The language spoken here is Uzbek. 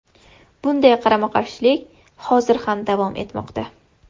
Bunday qarama-qarshilik hozir ham davom etmoqda.